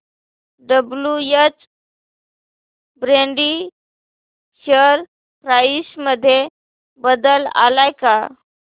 WH Brady share price मध्ये बदल आलाय का